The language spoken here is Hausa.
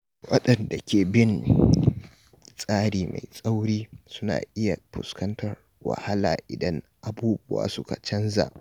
Waɗanda ke bin tsari mai tsauri suna iya fuskantar wahala idan abubuwa suka canza.